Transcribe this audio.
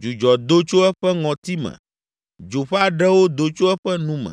Dzudzɔ do tso eƒe ŋɔtime; dzo ƒe aɖewo do tso eƒe nu me